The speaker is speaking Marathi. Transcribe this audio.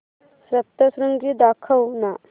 सप्तशृंगी दाखव ना